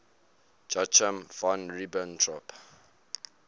joachim von ribbentrop